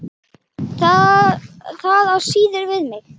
Það á síður við mig.